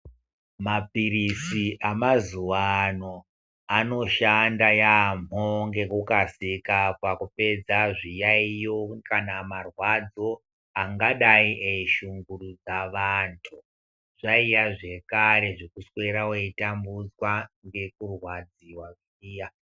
Mapilizi emazuva ano anoshanda yambo ngekukasika pakupedza zviyayiyo kana marwadzo angadaai eyi shungurudza anhu zvaiva zvekare zvekuswera weitambudzwa ngekurwadziwa.